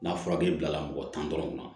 N'a furaji bilala mɔgɔ tan dɔrɔn ma